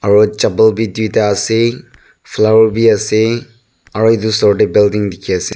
aro chapal bi tuita ase flower bi ase aro edu osor tae building dikhiase.